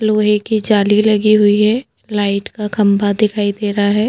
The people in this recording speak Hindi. लोहे की जाली लगी हुई है लाइट का खम्भा दिखाई दे रहा है।